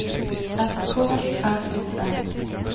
S K R U R